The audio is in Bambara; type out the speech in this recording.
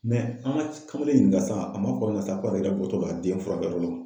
Mɛ an ma kamalen ɲininka sisan a ma fɔ ne ma sisan k'a yɛrɛ bɔtɔ filɛ nin ye a den furakɛ yɔrɔ la